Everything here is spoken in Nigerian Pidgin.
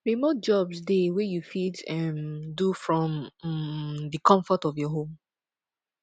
remote jobs de wey you fit um do from um the confort of your home